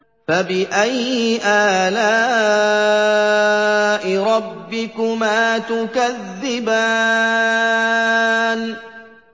فَبِأَيِّ آلَاءِ رَبِّكُمَا تُكَذِّبَانِ